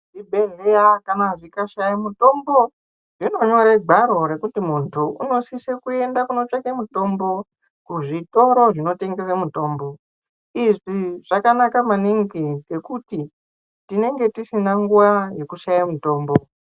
Zvibhedhleya kana zvikashaye mitombo zvinonyore gwaro rekuti muntu unosise kuyende kotsvake mitombo kuzvitoro zvinotengese mitombo izvi zvakanaka maningi ngekuti tinenge tisina nguwa yekushaye mitombo.